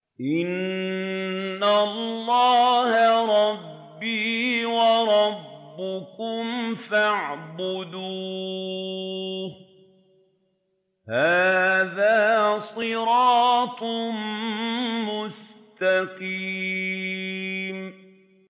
إِنَّ اللَّهَ رَبِّي وَرَبُّكُمْ فَاعْبُدُوهُ ۗ هَٰذَا صِرَاطٌ مُّسْتَقِيمٌ